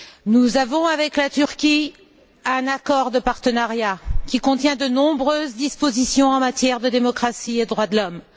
Nous avons avec la Tunisie un accord de partenariat qui contient de nombreuses dispositions en matière de démocratie et de droits de l'homme.